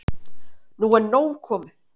Nú er nóg komið!